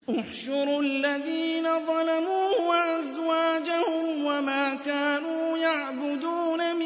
۞ احْشُرُوا الَّذِينَ ظَلَمُوا وَأَزْوَاجَهُمْ وَمَا كَانُوا يَعْبُدُونَ